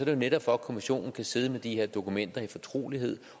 jo netop for at kommissionen kan sidde med de her dokumenter i fortrolighed